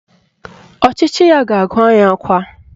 Ọchịchị ya ga-agụ anyị akwa